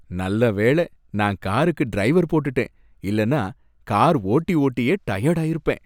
நல்ல வேள, நான் காருக்கு டிரைவர் போட்டுட்டேன், இல்லனா கார் ஓட்டி ஓட்டியே டயர்டு ஆயிருப்பேன்